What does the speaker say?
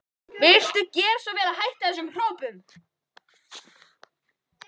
Viltu gera svo vel að hætta þessum hrópum!